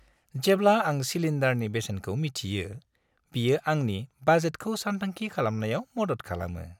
जेब्ला आं सिलिन्डारनि बेसेनखौ मिथियो, बेयो आंनि बाजेटखौ सानथांखि खालामनायाव मदद खालामो।